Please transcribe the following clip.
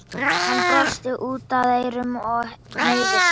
Hann brosti út að eyrum og hneigði sig.